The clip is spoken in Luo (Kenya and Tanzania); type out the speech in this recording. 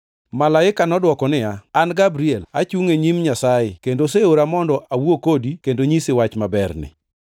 Malaika nodwoko niya, “An Gabriel, achungo e nyim Nyasaye, kendo oseora mondo awuo kodi kendo nyisi wach maberni.